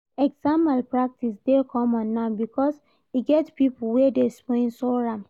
Exam malpractice dey common now because e get pipo wey dey sponsor am.